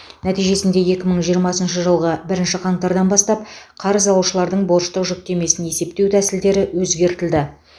нәтижесінде екі мың жиырмасыншы жылғы бірінші қаңтардан бастап қарыз алушылардың борыштық жүктемесін есептеу тәсілдері өзгертілді